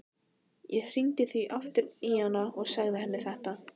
Ég hringdi því aftur í hana og sagði henni þetta.